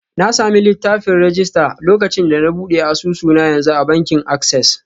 Na sami littafin rajista lokacin da na buɗe asusu na yanzu a bankin Access.